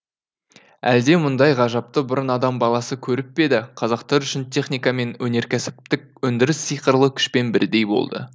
әлде мұндай ғажапты бұрын адам баласы көріп пе еді қазақтар үшін техника мен өнеркәсіптік өндіріс сиқырлы күшпен бірдей болды